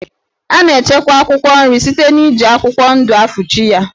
A na-echekwa akwụkwọ nri site n'iji akwụkwọ ndụ afuchi ya.